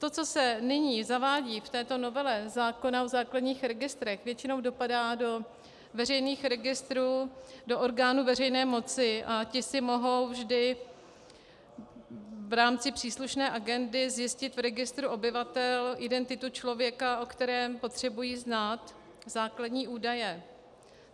To, co se nyní zavádí v této novele zákona o základních registrech, většinou dopadá do veřejných registrů, do orgánů veřejné moci, a ty si mohou vždy v rámci příslušné agendy zjistit v registru obyvatel identitu člověka, o kterém potřebují znát základní údaje.